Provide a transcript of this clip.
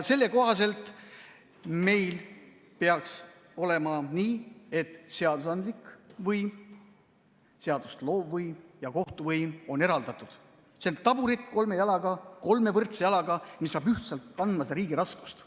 Selle kohaselt peaks meil olema nii, et seadusandlik võim, seadust loov võim ja kohtuvõim on eraldatud, see on taburet kolme võrdse jalaga, mis peab ühtselt kandma seda riigi raskust.